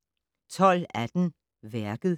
12:18: Værket